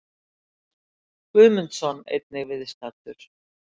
Guðmundsson, einnig viðstaddur.